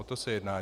O to se jedná.